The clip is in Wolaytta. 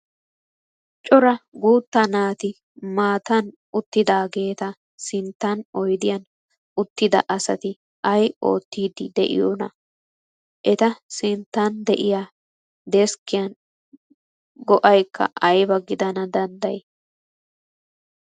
Cora guutta naati maatan uttidaageeta sinttan oydiyan uttida asati ayi oottiiddi diyoonaa? Eta sinttan de'iya deskkiyan go'aykka ayba gidana dandday?